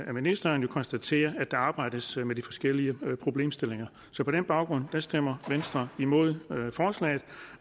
af ministeren konstatere at der arbejdes med de forskellige problemstillinger så på den baggrund stemmer venstre imod forslaget